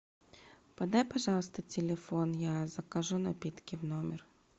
подай пожалуйста телефон я закажу напитки в номер